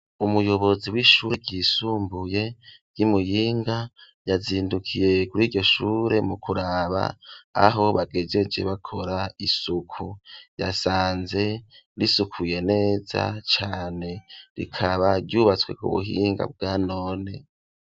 Umuyobozi w'ishure ryisumbuye ryi Muyinga yazindukiye kuri iryo shure mu kuraba aho bagejeje bakora isuku, yasanze risukuye neza cane rikaba ryubatswe ku buhinga bwa none.